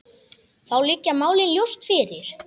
Þá liggja málin ljóst fyrir.